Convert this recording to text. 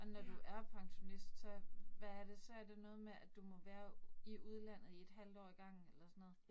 Og når du er pensionist, så hvad er det. Så er det noget med, at du må være i udlandet i et halvt år ad gangen eller sådan noget